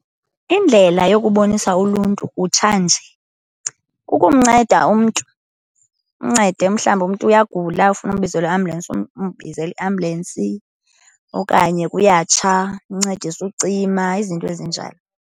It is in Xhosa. Indlela yokubonisa uluntu kutshanje kukumnceda umntu, umncede. Mhlawumbi umntu uyagula ufuna umbizele iambulensi, umbizele iambulensi. Okanye kuyatsha umncedise ucima, izinto ezinjalo.